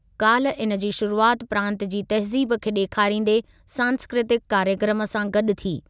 काल्ह इनजी शुरुआति प्रांतु जी तहज़ीब खे ॾेखारींदे सांस्कृतिकु कार्यक्रमु सां गॾु थी।